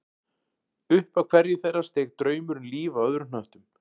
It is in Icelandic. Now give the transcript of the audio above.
Upp af hverju þeirra steig draumur um líf á öðrum hnöttum